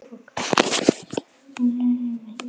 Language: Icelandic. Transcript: Þá áttu bara eftir að sigra hana alveg.